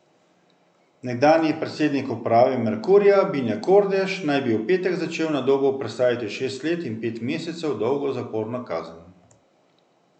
Nekdanji predsednik uprave Merkurja Bine Kordež naj bi v petek začel na Dobu prestajati šest let in pet mesecev dolgo zaporno kazen.